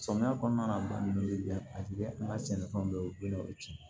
Samiya kɔnɔna na ba ninnu ye a bɛ an ka sɛnɛfɛnw bɛɛ cɛn